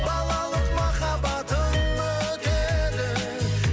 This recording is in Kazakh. балалық махаббатым өтеді